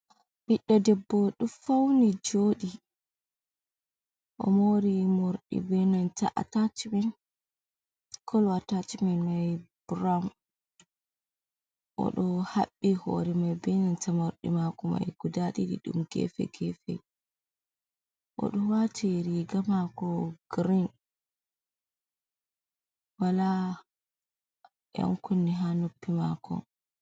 biɗdo debbo do fauni jodi o mori mordi benanta atacmin kolo atachmin mai burawun o do habbi hore mai benanta mordi mako mai guda didi dum gefe gefe o do wati riga mako green wala yan kunne ha noppi mako.